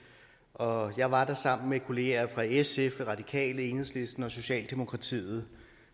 og jeg var der sammen med kollegaer fra sf de radikale enhedslisten og socialdemokratiet